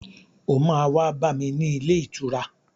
O máa wá bá mi ní ilé ìtura.